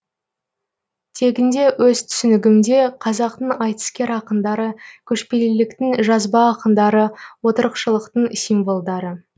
тегінде өз түсінігімде қазақтың айтыскер ақындары көшпеліліктің жазба ақындары отырықшылықтың символдары